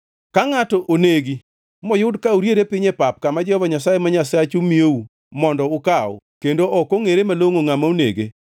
Ka ngʼato onegi moyud ka oriere piny e pap kama Jehova Nyasaye ma Nyasachu miyou mondo ukaw kendo ok ongʼere malongʼo ngʼama onege,